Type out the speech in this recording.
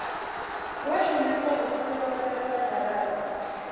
wa shumiswa u phurosesa garata